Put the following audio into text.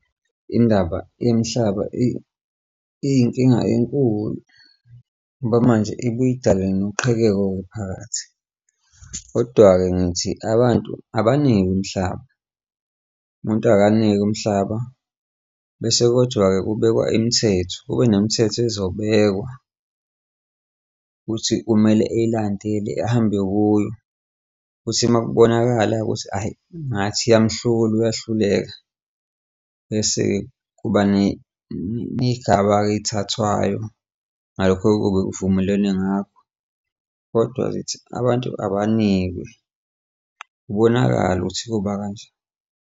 Indaba yemihlaba iyinkinga enkulu ngoba manje ibuye idale noqhekeko phakathi. Kodwa-ke ngithi abantu abanikwe umhlaba, umuntu akanikwe umhlaba, bese kodwa-ke kubekwe imithetho, kube nemithetho izobhekwa ukuthi kumele ey'landele ahambe kuyo, futhi uma kubonakala ukuthi ayi ngathi iyamhlula, uyahluleka. Bese kuba ney'gaba-ke ey'thathwayo ngalokho ekube kuvumelenwe ngakho. Kodwa zithi abantu abanikwe kubonakale ukuthi ukuba kanjani.